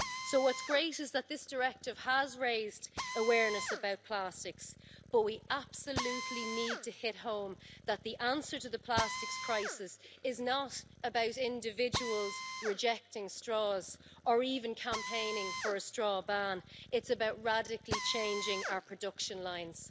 So what's great is that this directive has raised awareness about plastics, but we absolutely need to hit home that the answer to the plastics crisis is not about individuals rejecting straws or even campaigning for a straw ban it's about radically changing our production lines.